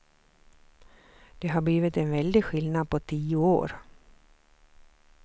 Det har blivit en väldig skillnad på tio år.